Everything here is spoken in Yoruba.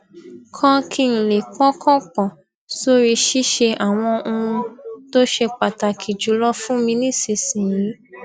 kan kí n lè pọkàn pò sórí ṣíṣe àwọn ohun tó ṣe pàtàkì jùlọ fún mi nísinsìnyí